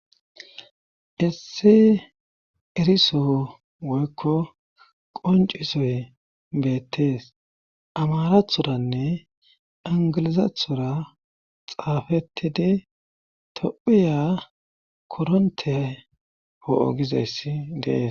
issi eriso woykko qoncisoy beettees amarathoranne ingilizathora xaafetide tophiya koronte oo7o gizayssi dees